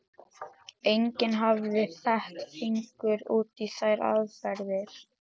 Enginn hafði fett fingur út í þær aðferðir.